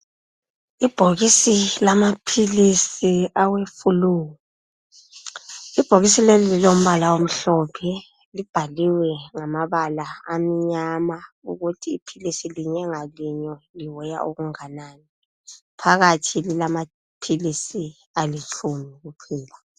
Ibhokisi lamaphilisi aweflue. Ibhokisi leli lilombala omhlophe libhaliwe ngamabala amnyama ukuthi iphilisi linye ngalinye liweya okunganani. Phakathi lilamaphilisi alitshumi kuphela.